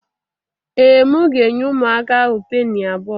Ee, m ga-enye ụmụaka ahụ penny abụọ